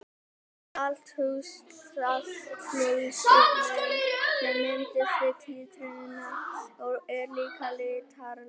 Saltlausnin sem myndast við títrunina er líka litarlaus.